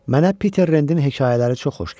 Mənə Piter Rendin hekayələri çox xoş gəlir.